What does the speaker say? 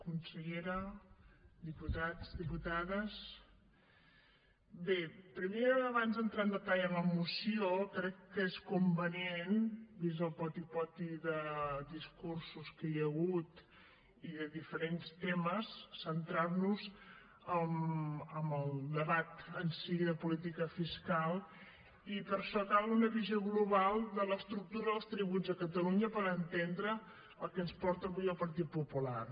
consellera diputats diputades bé primer abans d’entrar en detall en la moció crec que és convenient vist el poti poti de discursos que hi ha hagut i de diferents temes centrar nos en el debat en si de política fiscal i per això cal una visió global de l’estructura dels tributs a catalunya per entendre el que ens porta avui el partit popular